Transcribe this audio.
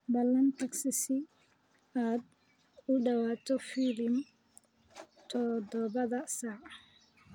ballan tagsi si aad u daawato filim todobada saac